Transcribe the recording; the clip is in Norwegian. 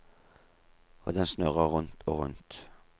Og den snurrer rundt og rundt.